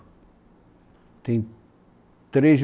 Tem três